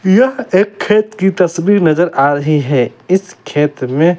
यह एक खेत की तस्वीर नजर आ रही है इस खेत में--